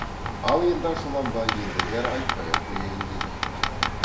ал енді ашуланба ендігәрі айтпай ақ қояйын деді